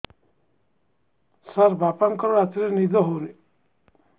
ସାର ବାପାଙ୍କର ରାତିରେ ନିଦ ହଉନି